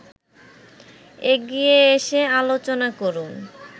এগিয়ে এসে আলোচনা করুন